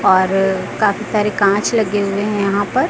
और काफी सारे कांच लगे हुए है यहां पर।